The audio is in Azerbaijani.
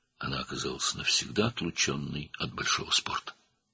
O, böyük idmandan əbədi olaraq kənarlaşdırıldı.